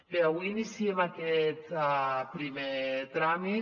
bé avui iniciem aquest primer tràmit